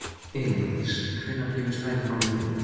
Elíndís, hvenær kemur strætó númer þrjú?